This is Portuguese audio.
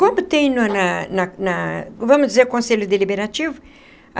Como tem no na na na vamos dizer Conselho Deliberativo?